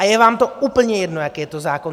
A je vám to úplně jedno, jaký je to zákon!